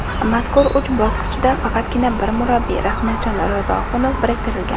Mazkur uch bokschiga faqatgina bir murabbiy Rahmatjon Ro‘ziohunov biriktirilgan.